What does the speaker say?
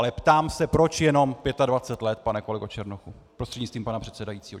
Ale ptám se, proč jenom 25 let, pane kolego Černochu prostřednictvím pana předsedajícího?